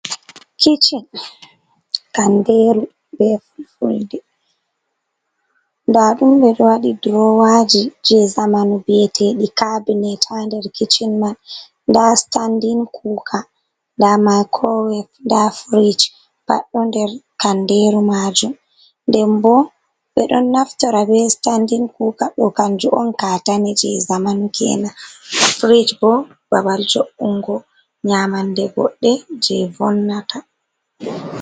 kichin, kanndeeru bee Fulfulde, nda ɗum ɓe ɗo waɗi drowaaji je zamanu, bi"eteeɗi cabinet haa nder kichen man, nda standin kuka nda maikrowef ndaa fridj pat ɗo nder kanndeeru majum, nden bo ɓe ɗon naftora bee standin kuka bo kannjum on kaatane je zamanu kenan, frij boo babal jo’ungo nyamande goɗɗe je vonnata.